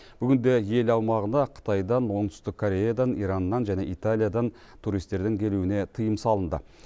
бүгінде ел аумағына қытайдан оңтүстік кореядан ираннан және италиядан туристердің келуіне тыйым салынды